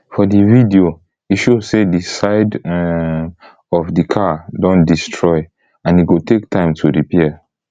for di video e show say di side um of di car don destroy and e go take time to repair